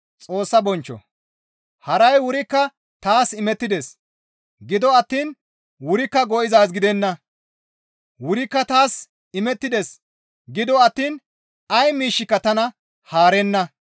Haray wurikka taas imettides; Gido attiin wurikka go7izaaz gidenna. Wurikka taas imettides gido attiin ay miishshika tana haarenna.